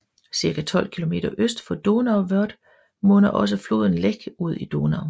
Cirka 12 km øst for Donauwörth munder også floden Lech ud i Donau